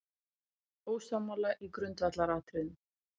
Ósammála í grundvallaratriðum